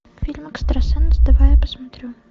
фильм экстрасенс давай я посмотрю